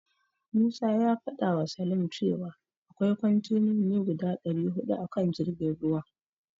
Musa ya fadawa Salim cewa akwai kontenoni guda dari hudu a kan jirgin ruwan.